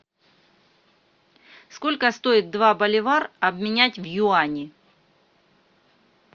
сколько стоит два боливар обменять в юани